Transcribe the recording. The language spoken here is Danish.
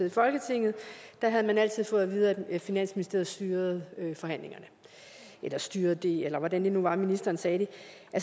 i folketinget havde man altid fået at vide at finansministeriet styrede forhandlingerne eller styrede det eller hvordan det nu var ministeren sagde det